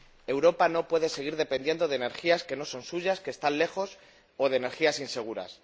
Europa no puede seguir dependiendo de energías que no son suyas, que están lejos, o de energías inseguras.